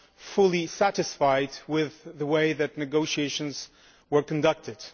fully satisfied with the way the negotiations were conducted.